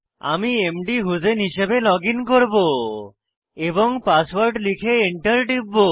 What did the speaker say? আমি মধুসেইন হিসাবে লগইন করব এবং পাসওয়ার্ড লিখে Enter টিপব